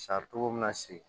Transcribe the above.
togo min na se